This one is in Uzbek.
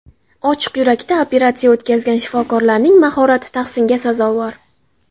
Ochiq yurakda operatsiya o‘tkazgan shifokorlarning mahorati tahsinga sazovor.